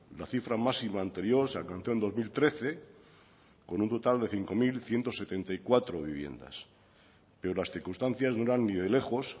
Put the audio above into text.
la cifra máxima anterior se alcanzó en dos mil trece con un total de cinco mil ciento setenta y cuatro viviendas pero las circunstancias no eran ni de lejos